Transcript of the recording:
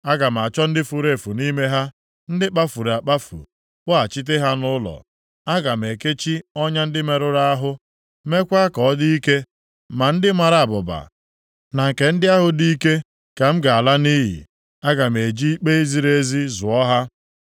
Aga m achọ ndị furu efu nʼime ha, ndị kpafuru akpafu, kpọghachite ha nʼụlọ. Aga m ekechi ọnya ndị merụrụ ahụ, meekwa ka ọ dị ike. Ma ndị mara abụba na nke ndị ahụ dị ike ka m ga-ala nʼiyi. Aga m eji ikpe ziri ezi zụọ ha.